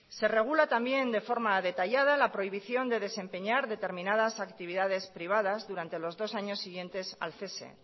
se regula también de forma detallada la prohibición de desempeñar determinadas actividades privadas durante los dos años siguientes al cese